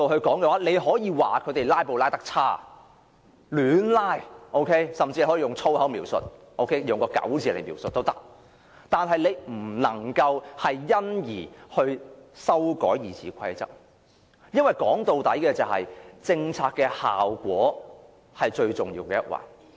當然，你可以指責他們"拉布"的手法差劣，甚至可以用各種粗話形容他們，卻不能因而修改《議事規則》，因為政策的效果畢竟是最重要的一環。